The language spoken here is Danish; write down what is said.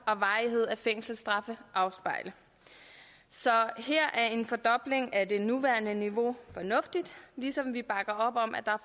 og varighed af fængselsstraffe afspejle så her er en fordobling af det nuværende niveau fornuftigt ligesom vi bakker op om at der er